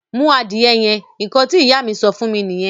Mú adìyẹ yẹn! Ǹkan tí Ìyá mi sọ fún mí nìyẹn